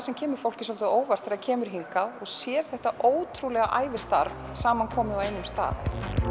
sem kemur fólki svolítið á óvart þegar það kemur hingað og sér þetta ótrúlega ævistarf samankomið á einum stað